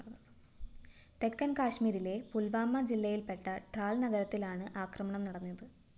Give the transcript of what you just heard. തെക്കന്‍ കാശ്മീരിലെ പുല്‍വാമ ജില്ലയില്‍പ്പെട്ട ട്രാല്‍ നഗരത്തിലാണ് ആക്രമണം നടന്നത്